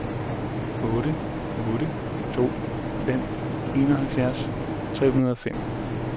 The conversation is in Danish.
otte otte to fem enoghalvfjerds tre hundrede og fem